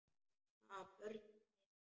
Ha, börn með þér?